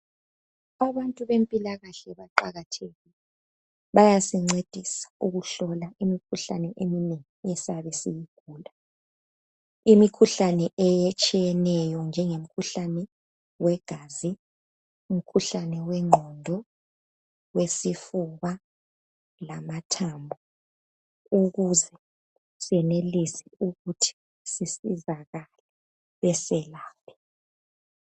Abantu bempilakahle baqakathekile. Bayasincedisa ukuhlola imikhuhlane eminengi esiyabe siyigula. Imikhuhlane etshiyeneyo njengemkhuhlane wegazi, umkhuhlane wengqondo, wesifuba lamathambo, ukuze senelise ukuthi sisizakale beselaphe.